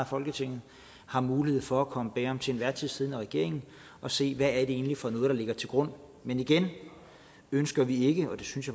folketinget har mulighed for at komme bag om den til enhver tid siddende regering og se hvad det egentlig er for noget der ligger til grund men igen ønsker vi ikke det synes